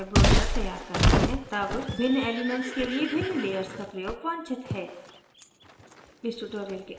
जब हम यह ब्रोशर तैयार करते हैं तब भिन्न elements के लिए भिन्न layers का प्रयोग वांछित है